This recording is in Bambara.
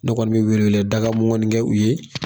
Ne kɔni bɛ wele wele daga mɔgɔin kɛ u ye.